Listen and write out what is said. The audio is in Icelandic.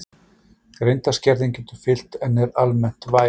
Greindarskerðing getur fylgt en er almennt væg.